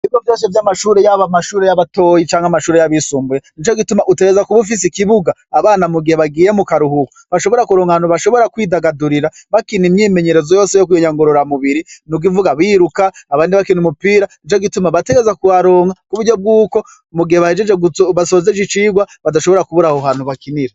Bibo vyose vy'amashure y'aba mashure y'abatoyi canke amashuri y'abisumbuye ni co gituma utereza kuba ufise ikibuga abana mu gihe bagiye mu karuhuko bashobora kuronga antu bashobora kwidagadurira bakina imyimenyerezo yose yo kuyonyangurora mubiri n' ugivuga biruka abandi bakina umupira ni co gituma batereza kuharonga ku buryo bw'uko umugihe bahejeje gubatsozeje icirwa badashobora kuburaho bantu bakinira.